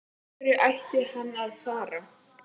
Af hverju ætti hann að fara?